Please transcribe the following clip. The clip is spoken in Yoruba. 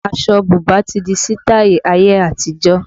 Aṣọ bùbá ti di sitai ayé àtijọ́